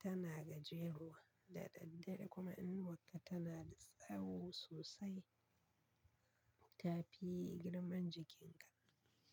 tana gajeruwa da daddare kuma inuwakka tana da sawo sosai ta fi girman jikin ka.